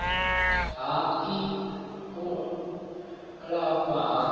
ha ii u lafha ha